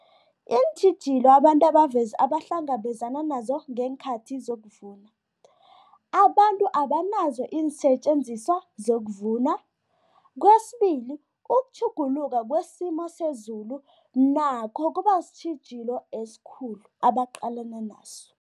Iintjhijilo abantu abahlangabezana nazo ngeenkhathi zokuvuna, abantu abanazo iinsetjenziswa zokuvuna. Kwesibili, ukutjhuguluka kwesimo sezulu nakho kuba sitjhijilo esikhulu abaqalana naso.